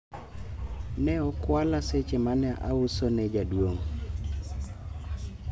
ne okwala seche mane auso ne jadwong'